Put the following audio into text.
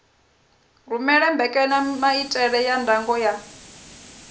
rumele mbekanyamaitele ya ndango ya